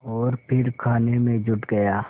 और फिर खाने में जुट गया